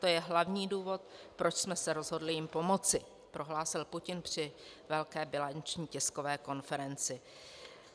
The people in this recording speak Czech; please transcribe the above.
To je hlavní důvod, proč jsme se rozhodli jim pomoci," prohlásil Putin při velké bilanční tiskové konferenci.